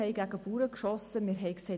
Die Bauern schossen gegen Bauern.